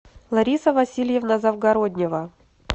лариса васильевна завгороднева